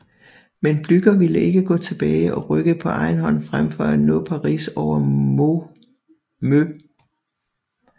Men Blücher ville ikke gå tilbage og rykkede på egen hånd frem for at nå Paris over Meaux